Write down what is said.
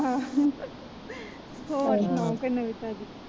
ਹੋਰ ਸੁਣਾਓ ਕੋਈ ਨਵੀਂ ਤਾਜੀ।